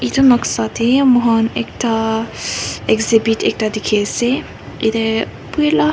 etu noksa teh moi khan ekta exhibit ekta dikhi ase yate boi lah--